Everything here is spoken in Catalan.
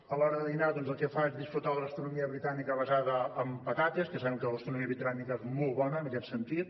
a l’hora de dinar doncs el que fa és gaudir de la gastronomia britànica basada en patates que sabem que la gastronomia britànica és molt bona en aquest sentit